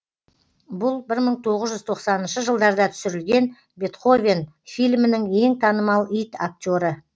бұл бір мың тоғыз жүз тоқсаныншы жылдарда түсірілген бетховен фильмінің ең танымал ит актері